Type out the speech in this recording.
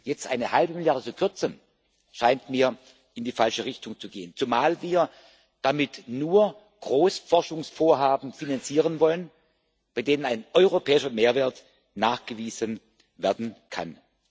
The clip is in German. Jetzt eine halbe Milliarde zu kürzen, scheint mir in die falsche Richtung zu gehen, zumal wir damit nur Großforschungsvorhaben finanzieren wollen, bei denen ein europäischer Mehrwert nachgewiesen werden kann.